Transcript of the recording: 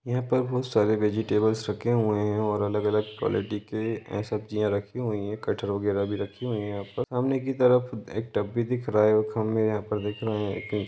यहां पर बहुत सारे वेजिटेबल्स रखे हुए हैं और अलग-अलग कवालिटी के सब्जिया रखी हुई है सामने की तरफ एक टब भी दिख रहा है हम यहाँ देख रहे हैं की --